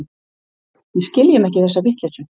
Við skiljum ekki þessa vitleysu.